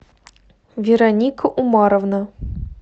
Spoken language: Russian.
вероника умаровна